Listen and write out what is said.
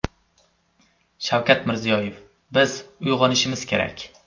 Shavkat Mirziyoyev: Biz uyg‘onishimiz kerak .